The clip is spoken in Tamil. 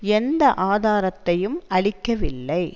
எந்த ஆதாரத்தையும் அளிக்கவில்லை